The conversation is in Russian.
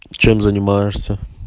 чем занимаешься